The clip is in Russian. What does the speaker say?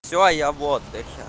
всё я в отдыхе